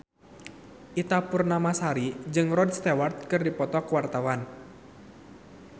Ita Purnamasari jeung Rod Stewart keur dipoto ku wartawan